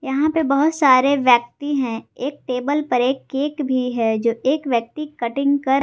यहां पे बहुत सारे व्यक्ति हैं एक टेबल पर एक केक भी है जो एक व्यक्ति कटिंग कर--